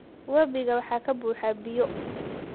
Wabiga waxaa ka buuxa biyo.